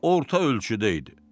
Orta ölçüdə idi.